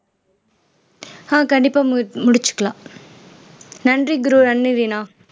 ஆஹ் கண்டிப்பா மு முடிச்சுக்கலாம் நன்றி குரு நன்றி ரீனா